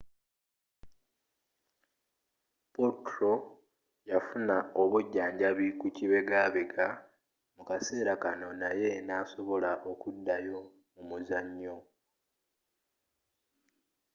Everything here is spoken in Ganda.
potro yafuna obujjanjabi ku kibegabega mu kaseera kanno naye nasobola okuddayo mu muzanyo